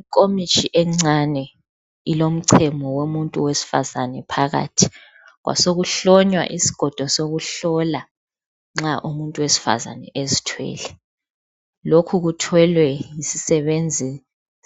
Inkomitsho encane ilomchemo womuntu wesifazane phakathi kwasokuhlonywa isigodo sokuhlola nxa umuntu wesifazana ezithwele lokhu kuthwelwe yisisebenzi